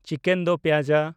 chicken ᱫᱳ ᱯᱭᱮᱡᱟ